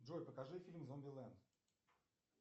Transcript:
джой покажи фильм зомбилэнд